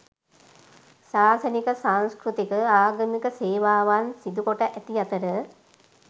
ශාසනික, සංස්කෘතික, ආගමික සේවාවන් සිදුකොට ඇති අතර